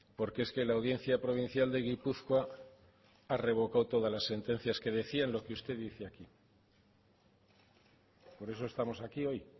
porque es que la audiencia provincial de gipuzkoa ha revocado todas las sentencias que decían lo que usted dice aquí por eso estamos aquí hoy